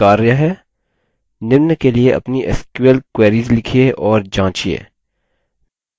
निम्न के लिए अपनी sql queries लिखिए और जाँचिये